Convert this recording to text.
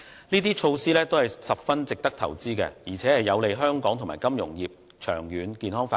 這些措施都十分值得投資，而且有利香港和金融服務業的長遠健康發展。